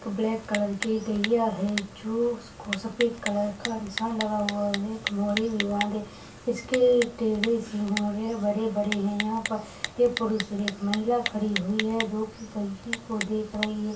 Black colour की एक गईया है जो उसको सफ़ेद कलर का निशान लगा हुआ है एक मोरी भी बांधे इसके टेडे सिहोर है बड़े बड़े है यहां पर पुरुष एक महिला खड़ी हुई है जो देख रही है।